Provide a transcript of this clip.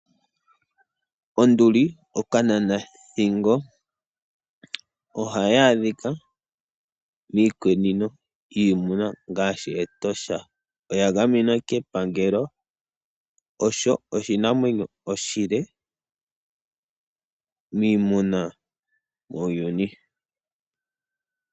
Onduli ookananathingo ohaya adhika miikunino yiiyamakuti ngaashi Etosha. Oya gamenwa kepangelo osho oshinamwenyo oshile miiyamakuti muuyuni.